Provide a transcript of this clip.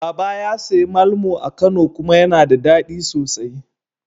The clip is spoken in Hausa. Baba ya sayi malmo a Kano kuma yana da daɗi sosai.